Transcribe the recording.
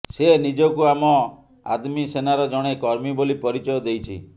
ସେ ନିଜକୁ ଆମ ଆଦମୀ ସେନାର ଜଣେ କର୍ମୀ ବୋଲି ପରିଚୟ ଦେଇଛି